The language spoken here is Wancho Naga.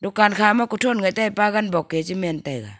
dukan khama kuthon gedeh pagan bok e chimen taiga.